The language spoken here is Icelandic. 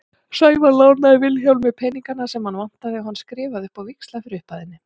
Sævar lánaði Vilhjálmi peningana sem hann vantaði og hann skrifaði upp á víxla fyrir upphæðinni.